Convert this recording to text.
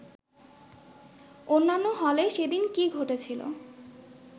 অন্যান্য হলে সেদিন কী ঘটেছিল